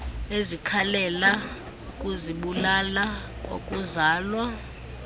ezikhalela ukuzibulala kwakuzalwa